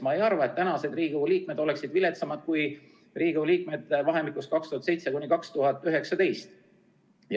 Ma ei arva, et praegu oleksid Riigikogu liikmed viletsamad kui Riigikogu liikmed vahemikus 2007–2019.